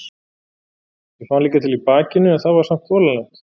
Ég fann líka til í bakinu en það var samt þolanlegt.